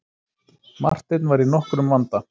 Marteinn var í nokkrum vanda.